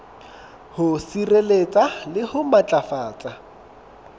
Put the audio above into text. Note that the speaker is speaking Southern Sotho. ho sireletsa le ho matlafatsa